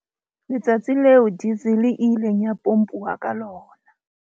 Letsatsi leo diesel e ileng ya pompuwa ka lona.